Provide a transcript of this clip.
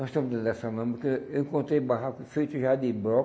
Nós estamos dentro dessa lama, porque eu encontrei barraco feito já de